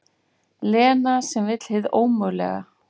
Lena sem vill hið ómögulega.